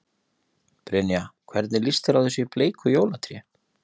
Brynja: Hvernig líst þér á þessi bleiku jólatré?